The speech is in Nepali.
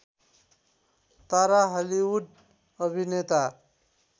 तारा हलिउड अभिनेता